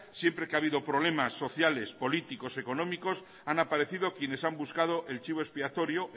siempre que ha habido problemas sociales políticos económicos han aparecido quienes han buscado el chivo expiatorio